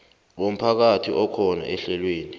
womphakathi akhona ehlelweni